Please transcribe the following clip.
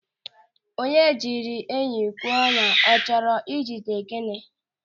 Onye jiri enyi kwee ọnyá, ọ chọrọ ị jide gịnị?